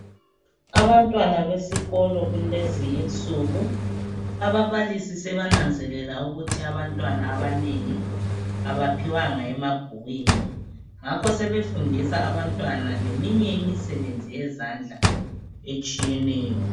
Abantwana besikolo kulezi insuku ababalisi sebananzelela ukuthi abantwana abanengi abaphiwanga emabhukwini ngakho sebefundiswa abantwana eminye imisebenzi yezandla etshiyeneyo.